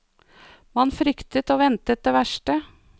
Man fryktet og ventet det verste.